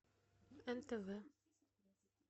нтв